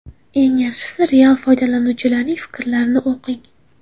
Eng yaxshisi real foydalanuvchilarning fikrlarini o‘qing.